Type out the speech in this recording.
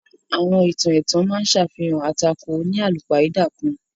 Àwọn ìtàn ètàn ma á ṣàfihàn atàkò oníalúpáidà kan.